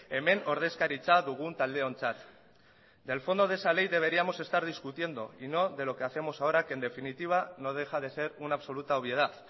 hemen ordezkaritza dugun taldeontzat del fondo de esa ley deberíamos estar discutiendo y no de lo que hacemos ahora que en definitiva no deja de ser una absoluta obviedad